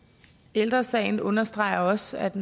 ældre sagen understreger også at